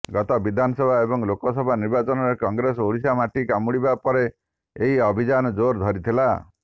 ଗତ ବିଧାନସଭା ଏବଂ ଲୋକସଭା ନିର୍ବାଚନରେ କଂଗ୍ରେସ ଓଡ଼ିଶାରେ ମାଟି କାମୁଡ଼ିବା ପରେ ଏହି ଅଭିଯାନ ଜୋର୍ ଧରିଥିଲା